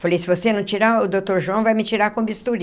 Falei, se você não tirar, o doutor João vai me tirar com bisturi.